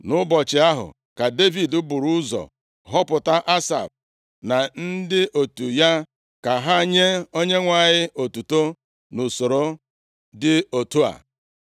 Nʼụbọchị ahụ ka Devid buru ụzọ họpụta Asaf na ndị otu ya ka ha nye Onyenwe anyị otuto nʼusoro dị otu a: